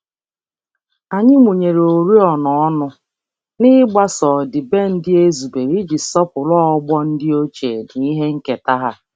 Anyị mụnyere oriọna ọnụ, n'igbaso ọdịbendị e zubere iji sọpụrụ ọgbọ ndị ochie na ihe nketa ha.